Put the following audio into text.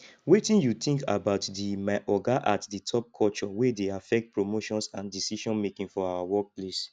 wetin you think about di my oga at the top culture wey dey affect promotions and decisionmaking for our workplace